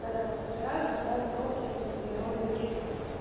когда его собираешь ну да стол всё это на природе окей